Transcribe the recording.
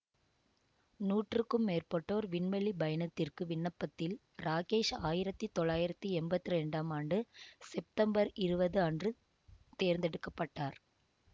நூற்றுக்கும் மேற்பட்டோர் விண்வெளி பயணத்திற்கு விண்ணப்பத்தில் ராகேஷ் ஆயிரத்தி தொள்ளாயிரத்தி எம்பத்தி இரண்டாம் ஆண்டு செப்தம்பர் இருபது அன்று தேர்ந்தெடுக்க பட்டார்